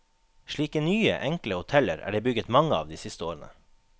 Slike nye, enkle hoteller er det bygget mange av de siste årene.